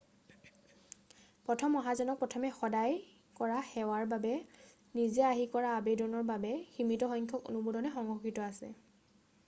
প্ৰথম অহাজনক প্ৰথমে সহায় কৰাৰ সেৱাৰ বাবে নিজে আহি কৰা আবেদনৰ বাবে সীমিত সংখ্যক অনুমোদনহে সংৰক্ষিত আছে